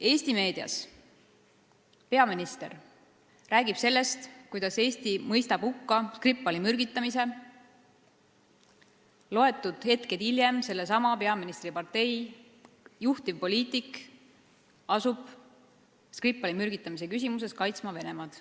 Eesti meedias räägib peaminister sellest, kuidas Eesti mõistab hukka Skripali mürgitamise, mõned hetked hiljem asub sellesama peaministri partei juhtivpoliitik Skripali mürgitamise küsimuses kaitsma Venemaad.